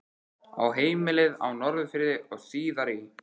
Á heimilið á Norðfirði og síðar í